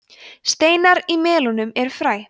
steinar í melónum eru fræ